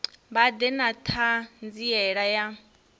vha ḓe na ṱhanziela ya